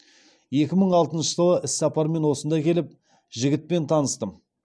екі мың алтыншы жылы іссапармен осында келіп жігітпен таныстым